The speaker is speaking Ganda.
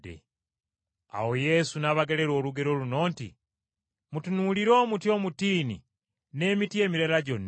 Awo Yesu n’abagerera olugero luno nti, “Mutunuulire omuti omutiini n’emiti emirala gyonna.